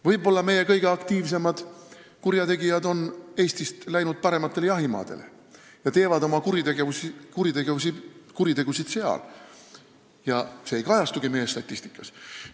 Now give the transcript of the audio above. Võib-olla meie kõige aktiivsemad kurjategijad on Eestist läinud parematele jahimaadele, teevad oma kuritegusid seal ja see ei kajastugi meie statistikas?